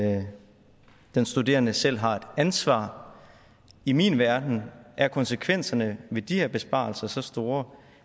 at den studerende selv har et ansvar i min verden er konsekvenserne af de her besparelser så store